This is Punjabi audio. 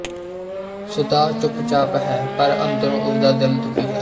ਸੁਧਾ ਚੁੱਪਚਾਪ ਹੈ ਪਰ ਅੰਦਰੋਂ ਉਸਦਾ ਦਿਲ ਦੁਖੀ ਹੈ